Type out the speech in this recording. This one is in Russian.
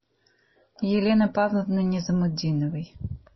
елены павловны низамутдиновой